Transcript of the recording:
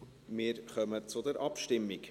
Wir kommen zur Abstimmung.